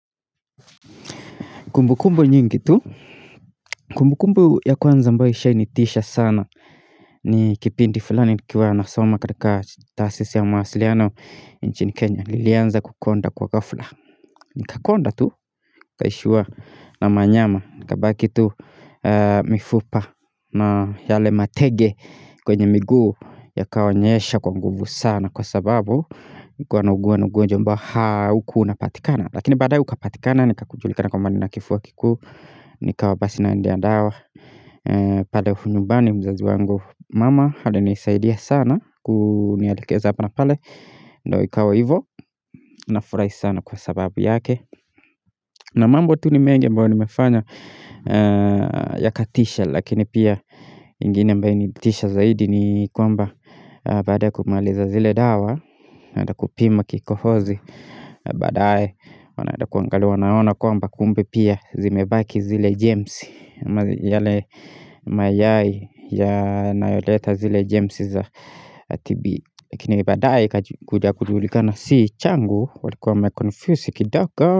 Kumbukumbu nyingi tu, kumbukumbu ya kwanza ambayo ishainitisha sana ni kipindi fulani nikiwa nasoma katika tasisi ya mawasiliano inchini Kenya, nilianza kukonda kwa ghafla. Nikakonda tu nikaishiwa na manyama nikabaki tu mifupa na yale matege kwenye miguu yakaonyesha kwa nguvu sana kwa sababu, nilikuwa nauguwa ugonjwa ambao haukua unapatikana. Lakini badae ukapatikana nikajulikana kwamba ninakifua kikuu nikawa basi naendea dawa pale nyumbani mzazi wangu mama alinisaidia sana kunielekeza hapa na pale na ikawa hivo nafurahi sana kwa sababu yake na mambo tu ni mengi ambayo nimefanya yakatisha lakini pia ingine ambayo ilinitisha zaidi ni kwamba baada ya kumaliza zile dawa naenda kupima kikohozi. Badae wanaeda kuangalia wanaona kwamba kumbe pia zimebaki zile jemsi yale mayai yanayoleta zile jemsi za TB chenye badae ikakuja kujulikana si changu walikuwa wamemconfusi kidogo.